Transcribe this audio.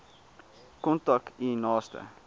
kontak u naaste